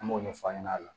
An b'o ɲɛfɔ a ɲɛnɛ